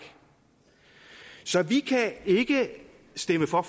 så vi kan ikke stemme for